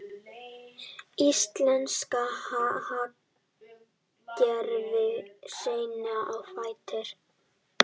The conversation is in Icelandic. Íslenska hagkerfið seinna á fætur